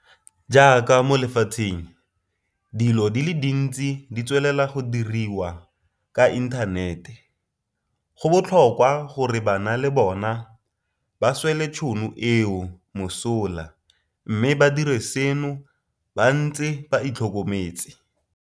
Jaaka mo lefatsheng dilo di le dintsi di tswelela go diriwa ka inthanete, go botlhokwa gore bana le bona ba swele tšhono eo mosola mme ba dire seno ba ntse ba itlhokometse.